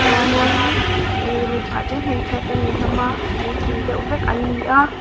chuanin ih mipa te hmeichhia te an ni hlawm a puitling deuh vek an ni a.